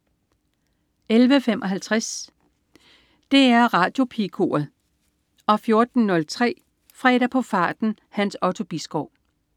11.55 DR Radiopigekoret 14.03 Fredag på farten. Hans Otto Bisgaard